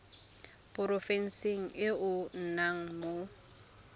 porofenseng e o nnang mo